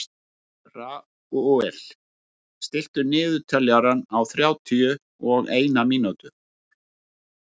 Ragúel, stilltu niðurteljara á þrjátíu og eina mínútur.